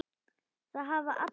Það hafa allir